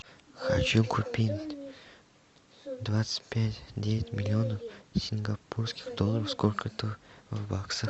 хочу купить двадцать пять девять миллионов сингапурских долларов сколько это в баксах